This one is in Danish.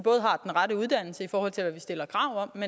har den rette uddannelse i forhold til hvad vi stiller krav om